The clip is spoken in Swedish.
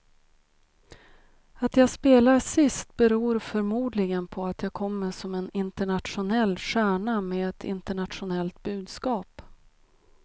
Att jag spelar sist beror förmodligen på att jag kommer som en internationell stjärna med ett internationellt budskap.